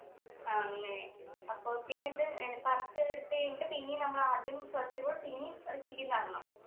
ആ അങ്ങനെ അപ്പൊ പിന്നെ എന്ത് ഏർ പറിച്ച് എടുത്ത് കഴിഞ്ഞിട്ട് പിന്നേം നമ്മൾ ആദ്യം first കുടെ പിന്നേം repeat ചെയ്ത് നടണം